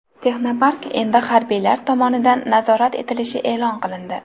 Texnopark endi harbiylar tomonidan nazorat etilishi e’lon qilindi.